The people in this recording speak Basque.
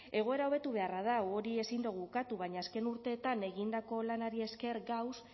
egoera hobetu beharra dago hori ezin dugu ukatu baina azken urteetan egindako lanari esker gagoz